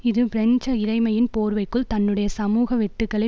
இது பிரெஞ்சு இறைமையின் போர்வைக்குள் தன்னுடைய சமூக வெட்டுக்களை